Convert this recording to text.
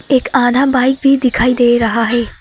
एक आधा बाइक भी दिखाई दे रहा है।